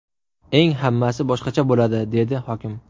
Eng hammasi boshqacha bo‘ladi”, dedi hokim.